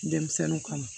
Denmisɛnninw kama